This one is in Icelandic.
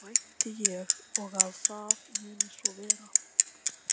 Vænti ég og að það muni svo vera.